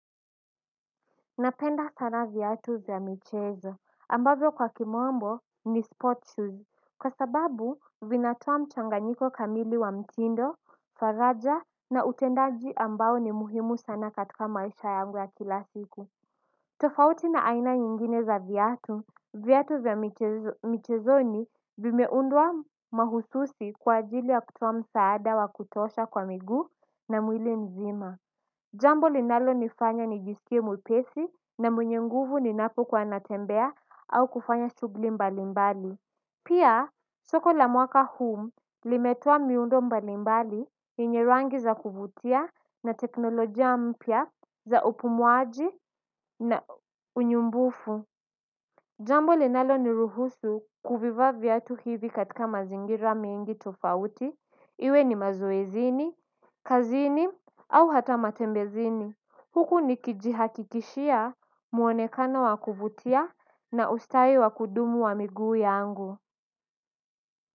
Napenda sana viatu vya michezo ambazo kwa kimombo ni sports shoes kwa sababu vinatoa mchanganyiko kamili wa mtindo faraja na utendaji ambao ni muhimu sana katika maisha yangu ya kila siku tofauti na aina nyingine za viatu vya michezo vimeundwa mahususi kwa ajili ya kutoa msaada wa kutosha kwa miguu na mwili mzima. Jambo linalonifanya nijiskie mwepesi na mwenye nguvu ninapo kuwa natembea au kufanya shughuli mbalimbali. Pia, soko la mwaka huu limetoa miundo mbalimbali yenye rangi za kuvutia na teknolojia mpya za upumuaji na unyumbufu. Jambo linalo ni ruhusu kuvivaa viatu hivi katika mazingira mingi tofauti. Iwe ni mazoezini, kazini, au hata matembezini. Huku ni kijihakikishia muonekana wa kuvutia na ustawi wa kudumu wa miguu yangu.